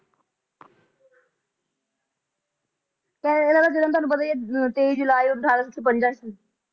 ਇਹਨਾਂ ਦਾ ਜਨਮ ਤੁਹਾਨੂੰ ਪਤਾ ਹੀ ਹੈ ਤਾਈ ਜੁਲਾਈ ਅਠਾਰਸੋ ਛਪੰਜਾ ਚ ਸੀ